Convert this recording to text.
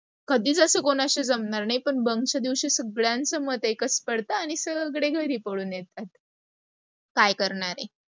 कधीच असं कोणाशी जमणार नाही पण bunk च्या दिवशी सगळ्यांच मत एकच पडत आणि सगळे घरी पळून येतात. काय करणारे